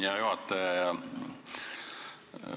Hea juhataja!